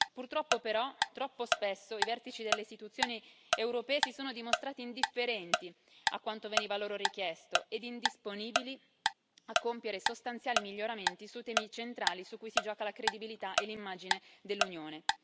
Purtroppo, però, troppo spesso i vertici delle istituzioni europee si sono dimostrati indifferenti a quanto veniva loro richiesto e indisponibili a compiere sostanziali miglioramenti su temi centrali su cui si gioca la credibilità e l'immagine dell'Unione.